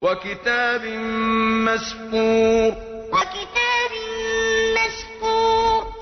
وَكِتَابٍ مَّسْطُورٍ وَكِتَابٍ مَّسْطُورٍ